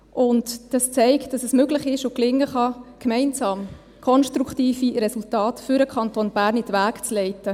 Dies zeigt, dass es möglich ist und gelingen kann, gemeinsam konstruktive Resultate für den Kanton Bern in die Wege zu leiten.